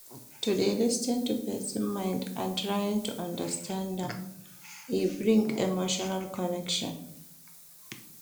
To de lis ten to persin mind and trying to understand am e bring emotional connection